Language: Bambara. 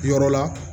Yɔrɔ la